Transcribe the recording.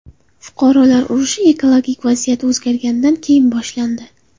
Fuqarolar urushi ekologik vaziyat o‘zgarganidan keyin boshlandi.